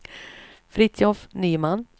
Fritiof Nyman